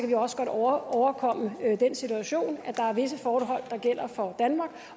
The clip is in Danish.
vi også godt overkomme den situation at der er visse forhold der gælder for danmark